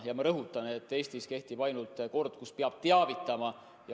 Ja ma rõhutan, et Eestis kehtib kord, kus teinekord peab ainult teavitama.